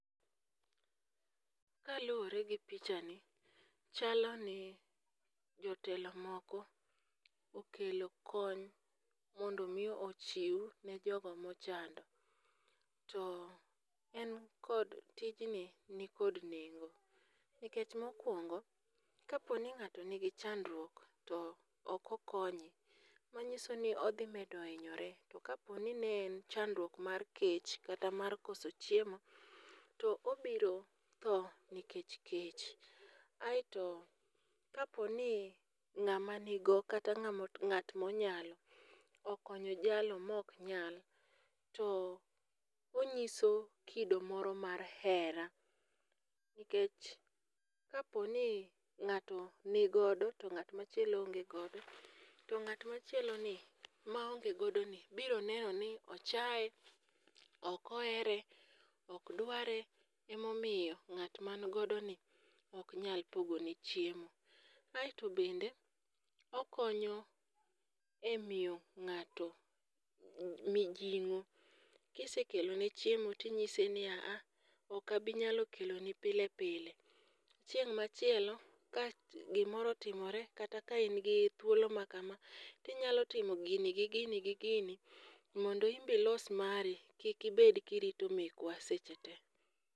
Kaluwore gi picha ni, chalo ni jotelo moko okelo kony mondo mi ochiw ne jogo mochando. To en kod tijni ni kod nengo, nikech mokwongo kaponi ng'ato nigi chandruok to oko konye, manyiso ni odhi medo hinyore. To kaponi ne en chandruok mar kech kata mar koso chiemo, to obiro tho nikech kech. To kaponi ng'ama nigo kata ng'ama ng'at monyalo okonyo jalo mok nyal, to onyiso kido moro mar hera. Nikech kaponi ng'ato nigodo to ng'amachielo onge godo, to ng'at machielo ni maonge godo ni biro neno ni ochae, ok ohere, ok dware. Emomiyo ng'at man godo ni ok nyal pogo ne chiemo. Aeto bende okonyo e miyo ng'ato mijing'o. Kisekelone chiemo tinyise ni aa, okabi nyalo kelo ni pile pile. Chieng' machielo ka gimoro otimore kata ka in gi thuolo ma kama, tinyalo timo gini gi gini gi gini mondo imbe ilos mari. Kik ibed kirito mekwa seche te.